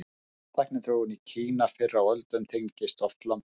Tækniþróun í Kína fyrr á öldum tengdist oft landbúnaði.